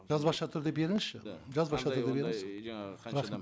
жазбаша түрде беріңізші жазбаша түрде беріңіз